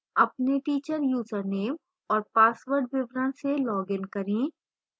अपने teacher username और password विवरण से login करें